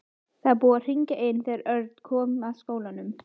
Það var búið að hringja inn þegar Örn kom að skólanum.